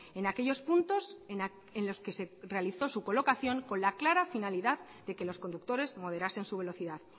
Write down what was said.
en aquellos puntos en los que se realizó su colocación con la clara finalidad de que los conductores moderasen su velocidad